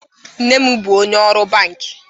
Mnem bu onye oru bank.